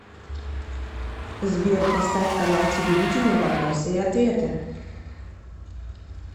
сбер поставь канал телевидения вопросы и ответы